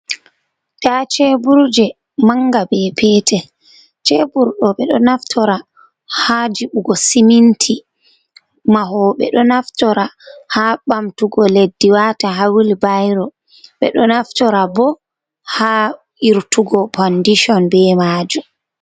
Nada ceburje, manga be petel. Cebur ɗo ɓe ɗo naftora ha jiɓugo siminti. Mahooɓe ɗo naftora ha ɓamtugo leddi wata ha wilbayro. Be ɗo naftora bo ha irtugo pondishon be majum.